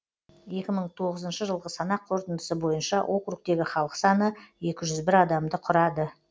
екі мың тоғызыншы жылғы санақ қорытындысы бойынша округтегі халық саны екі жүз бір адамды құрады